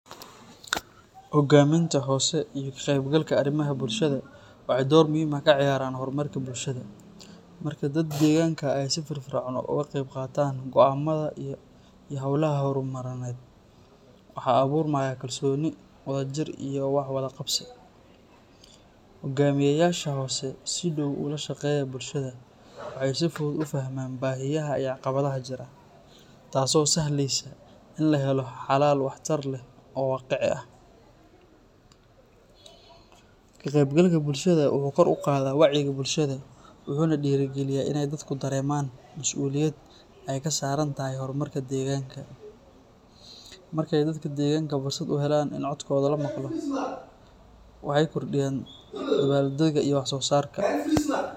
Hoggaaminta hoose iyo ka-qaybgalka arrimaha bulshada waxay door muhiim ah ka ciyaaraan horumarka bulshada. Marka dadka deegaanka ay si firfircoon uga qaybqaataan go'aamada iyo hawlaha horumarineed, waxaa abuurmaya kalsooni, wadajir iyo wax-wadaqabsi. Hoggaamiyeyaasha hoose oo si dhow ula shaqeeya bulshada waxay si fudud u fahmaan baahiyaha iyo caqabadaha jira, taas oo sahleysa in la helo xalal waxtar leh oo waaqici ah. Ka-qaybgalka bulshada wuxuu kor u qaadaa wacyiga bulshada, wuxuuna dhiirrigeliyaa inay dadku dareemaan mas’uuliyad ay ka saaran tahay horumarka deegaanka. Markay dadka deegaanka fursad u helaan in codkooda la maqlo, waxay kordhiyaan dadaalkooda iyo waxsoosaarka.